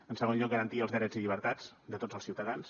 en segon lloc garantir els drets i llibertats de tots els ciutadans